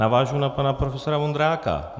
Navážu na pana profesora Vondráka.